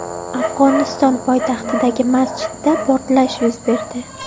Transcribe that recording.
Afg‘oniston poytaxtidagi masjidda portlash yuz berdi.